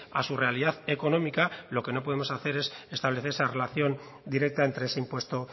a su realidad económica lo que no podemos hacer es establecer esa relación directa entre ese impuesto